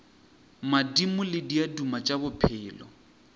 madimo le diaduma tša bophelo